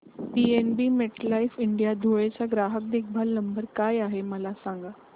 PNB MetLife India Dhule चा ग्राहक देखभाल नंबर काय आहे मला सांगा